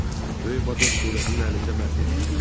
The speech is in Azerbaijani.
Budur, böyük vatoz surətinin əlində məhv olur.